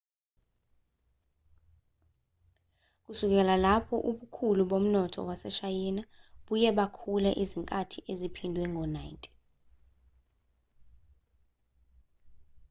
kusukela lapho ubukhulu bomnotho waseshayina buye bakhula izikhathi eziphindwe ngo-90